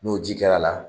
N'o ji kɛra la